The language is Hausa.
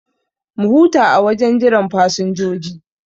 Mu huta a wajen jiran fasinjoji